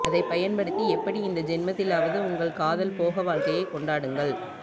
அதைப் பயன்படுத்தி எப்படி இந்தச் ஜென்மத்திலாவது உங்கள் காதல் போக வாழ்க்கையை கொண்டாடுங்கள்